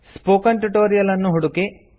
spoken tutorial ಅನ್ನು ಹುಡುಕಿ